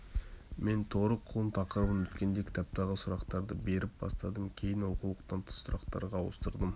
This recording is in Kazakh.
мен торы құлын тақырыбын өткенде кітаптағы сұрақтарды беріп бастадым кейін оқулықтан тыс сұрақтарға ауыстырдым